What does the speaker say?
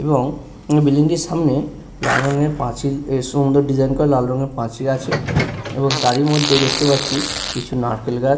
এবং বিল্ডিংটির সামনে লাল রঙের পাঁচিল সুন্দর ডিসাইন করা পাঁচিল লাল রংয়ের পাঁচিল আছে তারই মধ্যে দেখতে পাচ্ছি কিছু নারকেল গাছ।